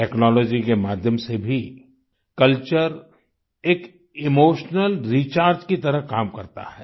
technology के माध्यम से भी कल्चर एक इमोशनल रिचार्ज की तरह काम करता है